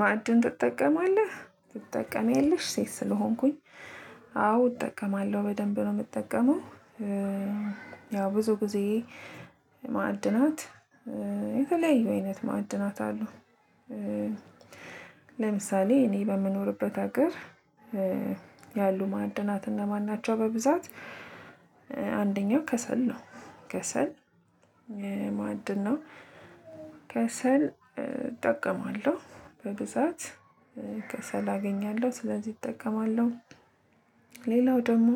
ማዕድን ትጠቀማለህ ትጠቀማለሽ ሴት ስለሆንኩኝ አዎ እጠቀማለሁ በደንብ ነው የምጠቀመው። ያው ብዙ ጊዜ ማዕድናት የተለያዩ አይነት ማዕድናት አለው። ለምሳሌ እኔ በምኖርበት ሀገር ያሉ ማዕድናት እነ ማን ናቸው? በብዛት አንደኛው ከሰል ነው። ከሰል ማዕድ ነው። ከሰል እጠቀማለሁ በብዛት ከሰል አገኛለሁ ስለዚህ እጠቀማለሁ። ሌላው ደግሞ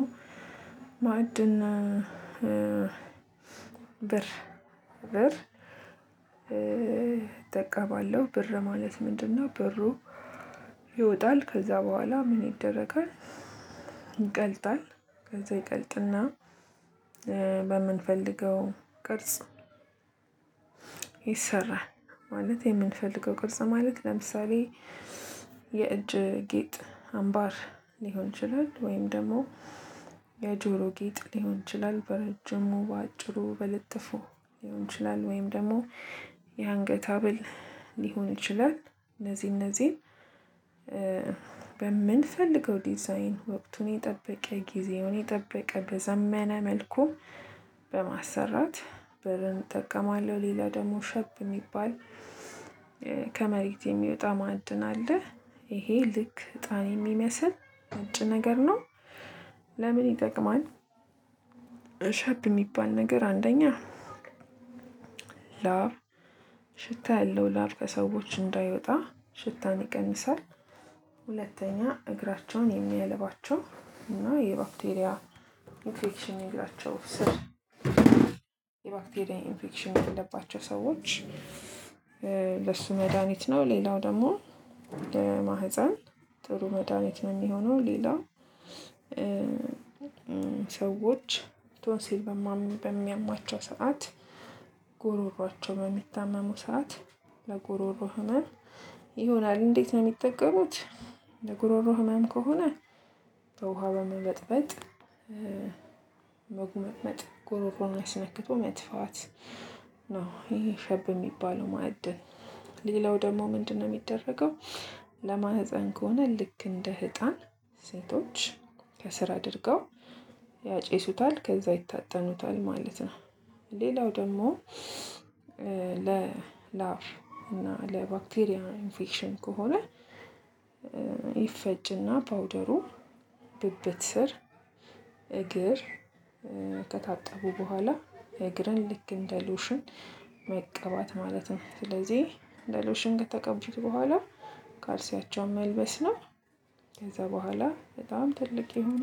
ማዐድን ብር ብር እጠቀማለሁ ብር ማለት ምንድነው? ብሩ ይወጣል ከዛ በኋላ ምን ይደረጋል? ይቀልጣል ከዛ ይቀልጥና በምንፈልገው ቅርጽ ይሰራል። ማለት የምንፈልገው ቅርጽ ማለት ለምሳሌ የእጅ ጌጥ አምባር ሊሆን ይችላል። ወይም ደግሞ የጆሮ ጌጥ ሊሆን ይችላል። በረጅሙ በአጭሩ በልጥፉ ሊሆን ይችላል። ወይም ደግሞ የአንገት ሀብል ሊሆን ይችላል። እነዚህ እነዚህን በምንፈልገው ዲዛይን ወቅቱን የጠበቀ ጊዜውን የጠበቀ በዘመነ መልኩ በማሰራት ብረን እጠቀማለሁ። ሌላ ደግሞ ሸብ የሚባል ከመሬት የሚወጣ ማዕድን አለ። ይሄ ልክ እጣን የሚመስል ነጭ ነገር ነው። ለምን ይጠቅማል? እሸብ የሚባል ነገር አንደኛ ላብ ሽታ ያለው ላብ ከሰዎች እንዳይወጣ ሽታን ይቀንሳል። ሁለተኛ እግራቸውን የሚያልባቸው እና የባክቴሪያ ኢንፌክሽን እግራቸው ስር የባክቴሪያ ኢንፌክሽን ያለባቸው ሰዎች ለሱ መድሃኒት ነው። ሌላው ደግሞ ለማህፀን ጥሩ መድሃኒት ነው የሚሆነው። ሌላ ሰዎች ቶንሲል በሚያማቸው ሰዓት ጎሮሮአቸው በሚታመሙ ሰዓት ለጉሮሮ ህመም ይሆናል። እንዴት ነው የሚጠቀሙት? ለጉሮሮ ህመም ከሆነ በውሃ በመመጥበጥ መጉመጥመጥ ጉሮሮን አስነክቶ መትፋት ነው። ይሄ ሸብ የሚባለው ማዕድን ሌላው ደግሞ ምንድነው የሚደረገው? ለማህፀን ከሆነ ልክ እንደ ህጣን ሴቶች ከስር አድርገው ያጨሱታል ከዛ ይታጠኑታል ማለት ነው። ሌላው ደግሞ ለላብ እና ለባክቴሪያ ኢንፌክሽን ከሆነ ይፈጭና ፓውደሩ ብብት ስር እግር ከታጠቡ በኋላ እግርን ልክ እንደ ሎሽን መቀባት ማለት ነው። ስለዚህ በሎሽን ከተቀቡት በኋላ ካልሲያቸውን መልበስ ነው። ከዛ በኋላ በጣም ትልቅ የሆነ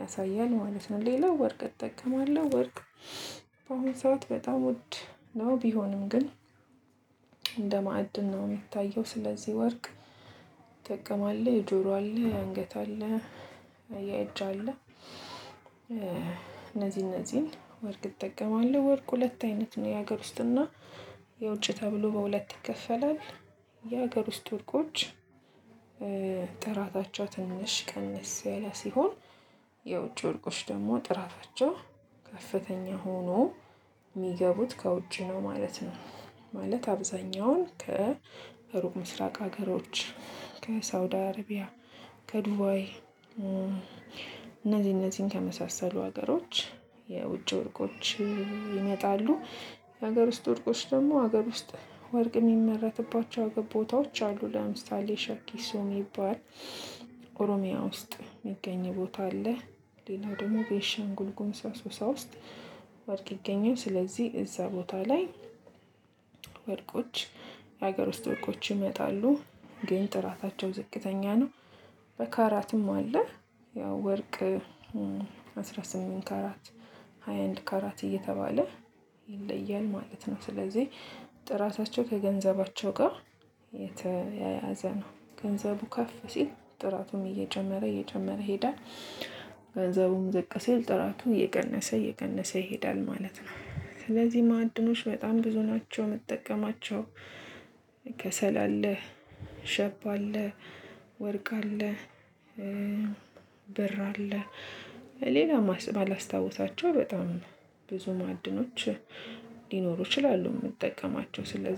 ያሳያል ማለት ነው። ሌላው ወርቅ እጠቀማለሁ ወርቅ በአሁን ሰዓት በጣም ውድ ነው። ቢሆንም ግን እንደ ማዕድን ነው የሚታየው። ስለዚህ ወርቅ እጠቀማለው የጆሮ አለ የአንገት አለ የእጅ አለ። እነዚህ እነዚህን ወርቅ እጠቀማለሁ ወርቅ ሁለት አይነት ነው የሀገር ውስጥና የውጭ ተብሎ በሁለት ይከፈላል። የሀገር ውስጥ ወርቆች ጥራታቸው ትንሽ ቀንስ ያለ ሲሆን የውጭ ወርቆች ደግሞ ጥራታቸው ከፍተኛ ሆኖ የሚገቡት ከውጭ ነው ማለት ነው። ማለት አብዛኛውን ከሩቅ ምስራቅ ሀገሮች ከሳኡድ አረቢያ ከዱባይ እነዚ እነዚህን ከመሳሰሉ ሀገሮች የውጭ ወርቆች ይመጣሉ። የሀገር ውስጥ ወርቆች ደግሞ ሀገር ውስጥ ወርቅ የሚመረትባቸው ቦታዎች አሉ። ለምሳሌ ሸኪሶ የሚባል ኦሮሚያ ውስጥ የሚገኝ ቦታ አለ። ሌላው ደግሞ ቤንሻን ጉልጉሙዝ አሶሳ ውስጥ ዋርቅ ይገኛል። ስለዚህ እዛ ቦታ ላይ ወርቆች የሀገር ውስጥ ወርቆች ይመጣሉ ግን ጥራታቸው ዝቅተኛ ነው። በካራትም አለ ያው ወርቅ አስራ ስምንት ካራት አንድ ካራት እየተባለ ይለያል ማለት ነው። ስለዚህ ጥራታቸው ከገንዘባቸው ጋር የተያያዘ ነው ገንዘቡ ከፍ ሲል ጥራቱም እየጨመረ እየጨመረ ይሄዳል። ገንዘቡን ዝቅ ሲል ጥራቱ እየቀነሰ እየቀነሰ ይሄዳል ማለት ነው። ስለዚህ ማዕድኖች በጣም ብዙ ናቸው። ምጠቀማቸው ከሰል አለ ሸብ አለ ወርቅ አለ። ብር አለ ሌላ ማላስታውሳቸው በጣም ብዙ ማዕድኖች ሊኖሩ ይችላሉ። የምጠቀማቸው ስለዚህ